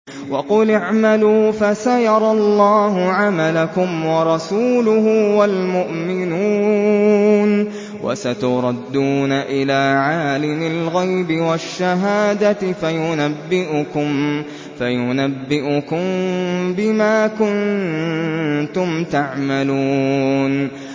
وَقُلِ اعْمَلُوا فَسَيَرَى اللَّهُ عَمَلَكُمْ وَرَسُولُهُ وَالْمُؤْمِنُونَ ۖ وَسَتُرَدُّونَ إِلَىٰ عَالِمِ الْغَيْبِ وَالشَّهَادَةِ فَيُنَبِّئُكُم بِمَا كُنتُمْ تَعْمَلُونَ